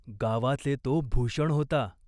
गावाचे तो भूषण होता.